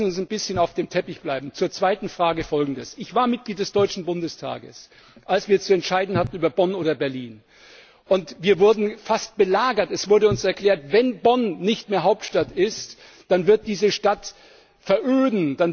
Aber lassen Sie uns ein bisschen auf dem Teppich bleiben. Zur zweiten Frage Folgendes Ich war Mitglied des deutschen Bundestages, als wir über Bonn oder Berlin zu entscheiden hatten. Wir wurden fast belagert, es wurde uns erklärt, wenn Bonn nicht mehr Hauptstadt ist, dann wird diese Stadt veröden.